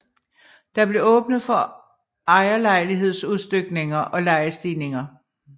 Der blev åbnet for ejerlejlighedsudstykninger og lejestigninger